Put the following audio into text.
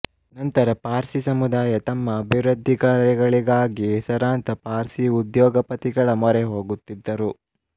ನಂತರ ಪಾರ್ಸಿ ಸಮುದಾಯ ತಮ್ಮ ಅಭಿವೃದ್ಧಿಕಾರ್ಯಗಳಿಗೆ ಹೆಸರಾಂತ ಪಾರ್ಸಿ ಉದ್ಯೋಗಪತಿಗಳ ಮೊರೆ ಹೋಗುತ್ತಿದ್ದರು